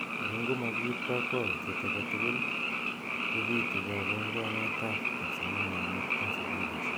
Ako ngo makiip kapkwautiet ake tugul ,kopitu kabunguanet ap kipsomaninik eng sukulishek.